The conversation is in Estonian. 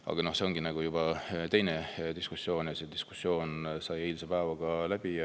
Aga see on juba teine diskussioon ja see diskussioon sai eilse päevaga läbi.